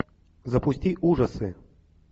запусти ужасы